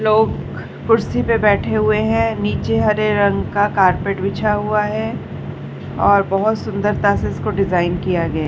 लोग कुर्सी पर बैठे हुए हैं। नीचे हरे रंग कारपेट बिछा हुआ है और बहोत सुंदरता से इसे डिज़ाइन किया गया --